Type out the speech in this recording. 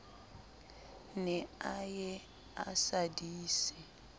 ne a ye a sadise